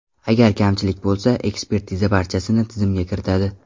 Agar kamchilik bo‘lsa, ekspertiza barchasini tizimga kiritadi.